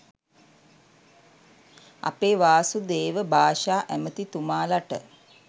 අපේ වාසුදේව භාෂා ඇමතිතුමාලට